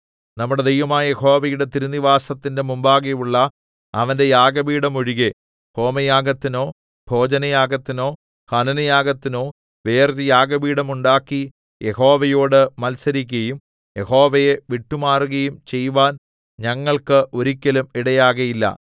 നമ്മുടെ ദൈവമായ യഹോവയുടെ തിരുനിവാസത്തിന്റെ മുമ്പാകെയുള്ള അവന്റെ യാഗപീഠം ഒഴികെ ഹോമയാഗത്തിനോ ഭോജനയാഗത്തിനോ ഹനനയാഗത്തിനോ വേറൊരു യാഗപീഠം ഉണ്ടാക്കി യഹോവയോട് മത്സരിക്കയും യഹോവയെ വിട്ടുമാറുകയും ചെയ്‌വാൻ ഞങ്ങൾക്ക് ഒരിക്കലും ഇടയാകയില്ല